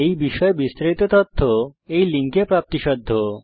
এই বিষয়ে বিস্তারিত তথ্য এই লিঙ্কে প্রাপ্তিসাধ্য